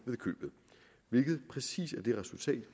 hvilket præcis er det resultat